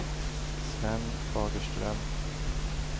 Sven Fagerström